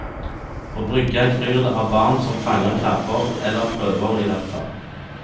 På brygga kryr det av barn som fanger krabber, eller prøver i hvertfall.